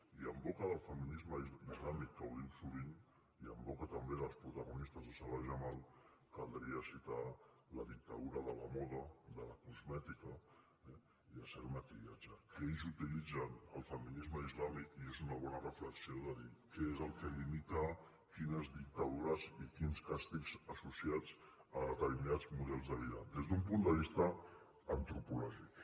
i en boca del feminisme islàmic que ho diu sovint i en boca també dels protagonistes de salah jamal caldria citar la dictadura de la moda de la cosmètica i de cert maquillatge que ells utilitzen el feminisme islàmic i és una bona reflexió de dir què és el que limita quines dictadures i quins càstigs associats a determinats models de vida des d’un punt de vista antropològic